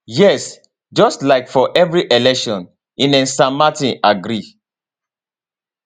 yes just like for every election ines san martin agree